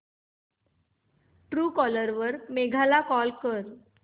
Truecaller वर मेघा ला call कर